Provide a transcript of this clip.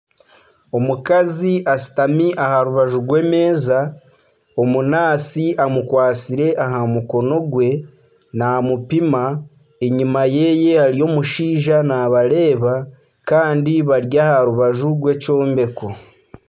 Omukazi ashutami aha rubaju rw'emeeza, omunaasi amukwatsire aha mukono gwe, naamupima enyima ye hariyo omushaija naabareeba kandi bari aha rubaju rw'ekyombeko